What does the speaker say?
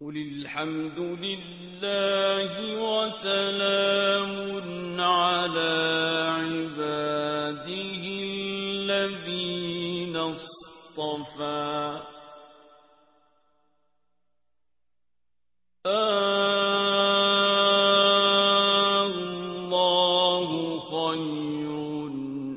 قُلِ الْحَمْدُ لِلَّهِ وَسَلَامٌ عَلَىٰ عِبَادِهِ الَّذِينَ اصْطَفَىٰ ۗ آللَّهُ خَيْرٌ